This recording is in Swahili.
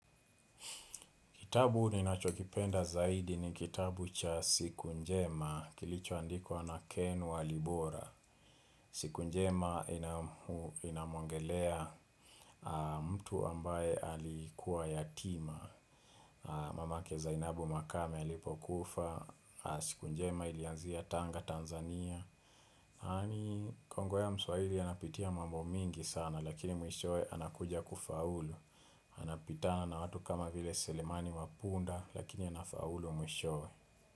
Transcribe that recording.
Kitabu ninachokipenda zaidi ni kitabu cha siku njema, kilicho andikwa na Ken Walibora. Siku njema inamwongelea mtu ambaye alikuwa yatima. Mamake Zainabu Makame alipokufa siku njema ilianzia Tanga Tanzania. Hani Kongo ya mswahili anapitia mambo mingi sana lakini mwishowe anakuja kufaulu. Anapitana na watu kama vile selimani wa punda lakini anafaulu mwishowe.